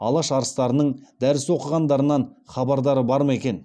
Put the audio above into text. алаш арыстарының дәріс оқығандарынан хабардар ма екен